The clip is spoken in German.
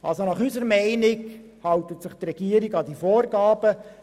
Unseres Erachtens hält sich die Regierung an diese Vorgaben.